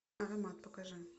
аромат покажи